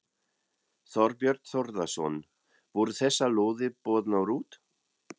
Þorbjörn Þórðarson: Voru þessar lóðir boðnar út?